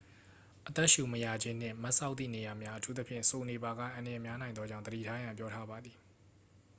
အသက်ရှူမရခြင်းနှင့် မတ်စောက်သည့်နေရာများ အထူးသဖြင့် စိုနေပါက အန္တရာယ်များနိုင်သောကြောင့် သတိထားရန် ပြောထားပါသည်